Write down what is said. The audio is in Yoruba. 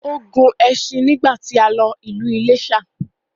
Ó gun ẹṣin nígbàtí a lọ sí ìlú Iléṣà